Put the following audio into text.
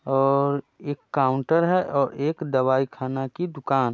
और एक काउंटर है एक दवाई खाना की दुकान।